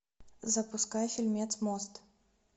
запускай фильмец мост